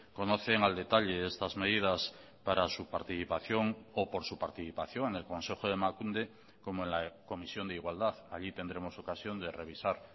conocen al detalle estas medidas para su participación o por su participación en el consejo de emakunde como en la comisión de igualdad allí tendremos ocasión de revisar